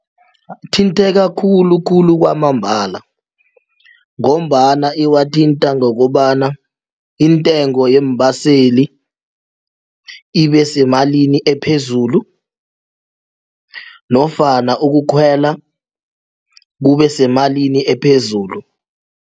Athinteka khulukhulu kwamambala ngombana iwathinta ngokobana intengo yeembaseli ibe semalini ephezulu nofana ukukhwela kube semalini ephezulu.